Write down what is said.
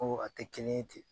Ko a tɛ kelen ye ten